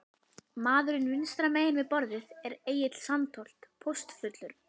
Maðurinn vinstra megin við borðið er Egill Sandholt, póstfulltrúi.